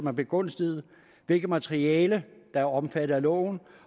er begunstiget hvilket materiale der er omfattet af loven